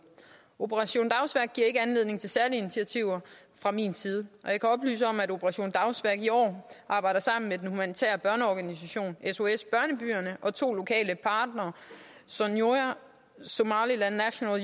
operation dagsværk giver ikke anledning til særlige initiativer fra min side og jeg kan oplyse om at operation dagsværk i år arbejder sammen med den humanitære børneorganisation sos børnebyerne og to lokale partnere sonyo somaliland national